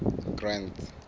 grant's